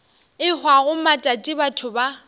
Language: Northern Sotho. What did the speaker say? e hwago matšatši batho ba